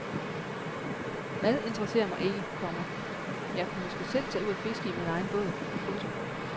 Mad interesserer mig ikke, komma men jeg kunne måske selv tage ud og fiske i min egen båd. punktum